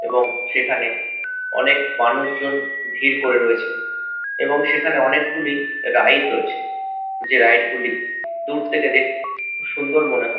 এবং সেখানে অনেক মানুষজন ভিড় করে রয়েছে এবং সেখানে অনেকগুলি রাইড রয়েছে যে রাইড -গুলি দূর থেকে দেখতে খুব সুন্দর মনে হচ্--